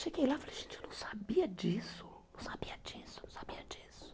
Cheguei lá e falei, gente, eu não sabia disso, não sabia disso, não sabia disso.